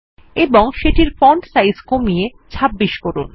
এবং সেটির ফন্টের সাইজ কমিয়ে ২৬ করুন